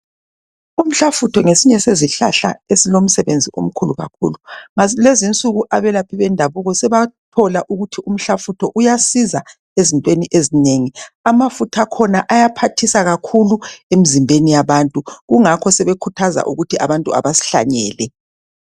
Umhlafutho ngesinye sezihlahla esilomsebenzi omkhulu kakhulu. Lezi nsuku abelaphi bendabuko sebathola ukuthi umhlafutho uyasiza ezintweni ezinengi. Amafutha akhona ayaphathisa kakhulu emzimbeni yabantu kungakho sebekhuthaza ukuthi abantu abasihlanyele.